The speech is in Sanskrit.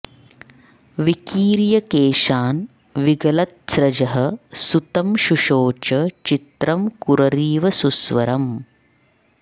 विकीर्य केशान् विगलत्स्रजः सुतं शुशोच चित्रं कुररीव सुस्वरम्